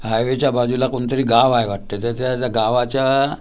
Highway च्या बाजूला कोणतरी गाव आहे वाटतं. त्याच्या गावाच्या--